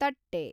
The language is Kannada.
ತಟ್ಟೆ